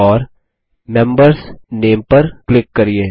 और membersनामे पर क्लिक करिये